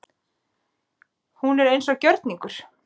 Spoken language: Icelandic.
Hún var eins og gjörningar.